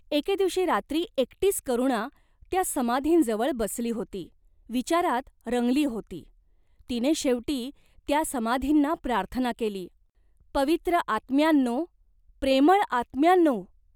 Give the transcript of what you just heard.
एके दिवशी रात्री एकटीच करुणा त्या समाधींजवळ बसली होती.विचारात रंगली होती. तिने शेवटी त्या समाधींना प्रार्थना केली, "पवित्र आत्म्यांनो, प्रेमळ आत्म्यांनो !